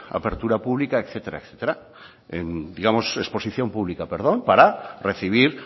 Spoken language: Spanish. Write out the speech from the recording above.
apertura pública etcétera etcétera digamos exposición pública perdón para recibir